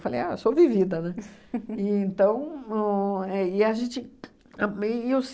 Falei, ah, sou vivida, né? E então o é a gente